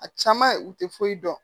A caman u tɛ foyi dɔn